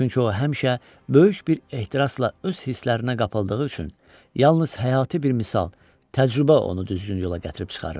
Çünki o həmişə böyük bir ehtirasla öz hislərinə qapıldığı üçün yalnız həyati bir misal, təcrübə onu düzgün yola gətirib çıxarırdı.